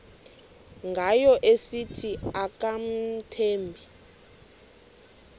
ngayo esithi akamthembi